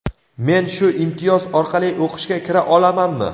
Men shu imtiyoz orqali o‘qishga kira olamanmi?.